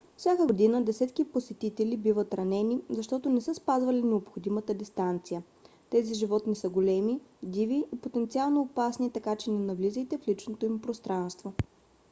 всяка година десетки посетители биват ранени защото не са спазвали необходимата дистанция. тези животни са големи диви и потенциално опасни така че не навлизайте в личното им пространство